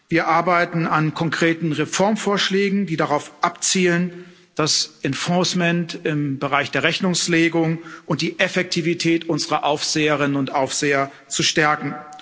Wir arbeiten an konkreten Reformvorschlägen, die darauf abzielen, das im Bereich der Rechnungslegung und die Effektivität unserer Aufseherinnen und Aufseher zu stärken.